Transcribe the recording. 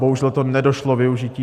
Bohužel to nedošlo využití.